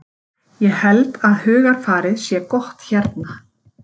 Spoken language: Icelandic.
Ég held að hugarfarið sé gott hérna.